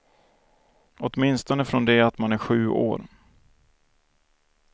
Åtminstone från det att man är sju år.